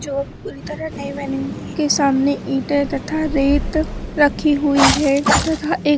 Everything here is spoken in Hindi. जो अभी पूरी तरह नहीं बानी हुई है के सामने ईंटे तथा रेत रखी हुई है तथा--